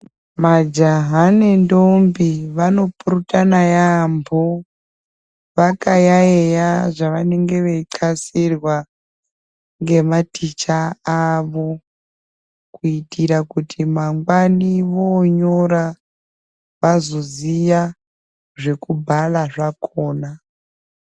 Majaha nendombi vanopurutana yaaambo vakayaiya zvavanenge veitqasirwa ngematicha avo kuitira kuti mangwani vonyora vazoziya zvekubhara zvakona.